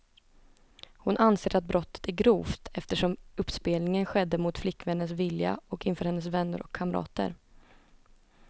Hon anser att brottet är grovt, eftersom uppspelningen skedde mot flickvännens vilja och inför hennes vänner och kamrater.